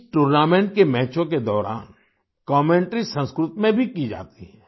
इस टूर्नामेंट के मैचों के दौरान कमेंटरी संस्कृत में भी की जाती है